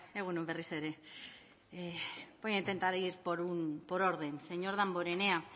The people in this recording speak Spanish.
egun on berriz ere voy a intentar ir por orden señor damborenea